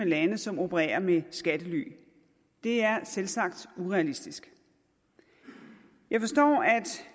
lande som opererer med skattely det er selvsagt urealistisk jeg forstår